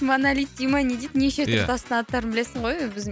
монолит дей ма не дейді неше түрлі тастың аттарын білесің ғой